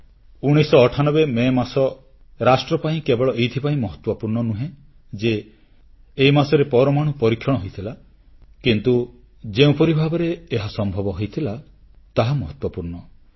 1998 May ମାସ ରାଷ୍ଟ୍ର ପାଇଁ କେବଳ ଏଥିପାଇଁ ମହତ୍ୱପୂର୍ଣ୍ଣ ନୁହେଁ ଯେ ଏହି ମାସରେ ପରମାଣୁ ପରୀକ୍ଷଣ ହୋଇଥିଲା କିନ୍ତୁ ଯେଉଁପରି ଭାବରେ ଏହା ସମ୍ଭବ ହୋଇଥିଲା ତାହା ମହତ୍ୱପୂର୍ଣ୍ଣ